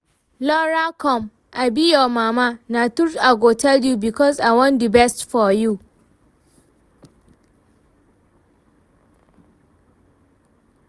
Lora come, I be your mama, na truth I go tell you because I wan the best for you